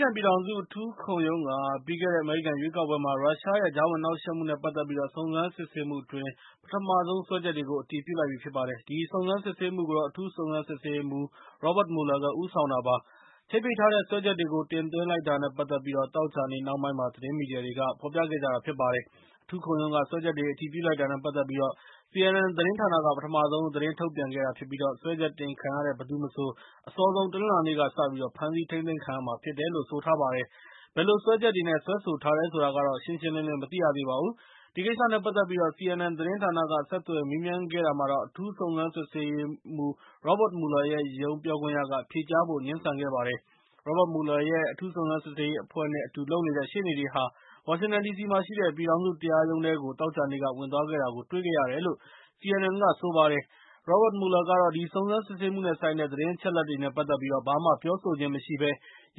ကန်ပြည်ထောင်စု အထူးခုံးရုံးက ပြီးခဲ့တဲ့အမေရိကန်ရွေးကောက်ပွဲမှာ ရုရှားရဲ့ သြဇာလွှမ်းမိုးမှု နဲ့ ပတ်သက်ပြီး စုံစမ်းစစ်ဆေးမှုအတွင်း ပထမဆုံးစွဲချက်တွေကို အတည်ပြုလိုက်ပါတယ်။ ဒီစုံစမ်းစစ်ဆေးမှုကို အထူးစုံစမ်းစစ်ဆေးရေးမှူး Robert Mueller ဦးဆောင်တာဖြစ်ပါတယ်။ ချိတ်ပိတ်ထားတဲ့ စွဲချက်တွေကို တင်သွင်းလိုက်တာနဲ့ ပတ်သက်ပြီး သောကြာနေ့နှောင်းပိုင်းမှာ သတင်းမီဒီယာတွေက ဖော်ပြခဲ့ကြတာဖြစ်ပါတယ်။ အထူးခုံရုံးက စွဲချက်တွေကို အတည်ပြုလိုက်တာနဲ့ ပတ်သက်ပြီး CNN သတင်းဌာနက ပထမဆုံး သတင်းထုတ်ပြန်ခဲ့တာဖြစ်ပြီး၊ စွဲချက်တင်ခံရတဲ့ ဘယ်သူမဆို အစောဆုံးတနင်္လာနေ့က စပြီး ဖမ်းဆီးထိန်းသိမ်းခံရမှာဖြစ်တယ်လို့လို့ ဆိုထားပါတယ်။ ဘယ်လိုစွဲချက်တွေနဲ့ စွဲဆိုထားတယ်ဆိုတာကတော့ ရှင်းရှင်းလင်းလင်း မသိရသေးပါဘူး။ ဒီကိစ္စနဲ့ ပတ်သက်ပြီး CNN သတင်းဌာနက ဆက်သွယ်မေးမြန်းခဲ့တာမှာတော့ အထူးစုံစမ်းဆေးရေးမှူး Robert Mueller ရုံးပြောခွင့်ရက ဖြေကြားဖို့ ငြင်းဆန်ခဲ့ပါတယ်။ Robert Mueller ရဲ့ အထူးစုံစမ်းစစ်ဆေးရေးအဖွဲ့နဲ့ အတူလုပ်နေတဲ့ ရှေ့နေတွေဟာ ဝါရှင်တန်ဒီစီမှာရှိတဲ့ ပြည်ထောင်စုတရားရုံးထဲကို သောကြာနေ့က ဝင်သွားတာကိုတွေ့ခဲ့၇တယ်လို့ CNN က ဆိုပါတယ်။ Robert Mueller ကတော့ ဒီစုံစမ်းစစ်ဆေးမှုနဲ့ဆိုင်တဲ့ သတင်းအချက်အလက်တွေနဲ့ ပတ်သက်ပြီး ဘာမှ ပြောဆိုခြင်းမရှိဘဲ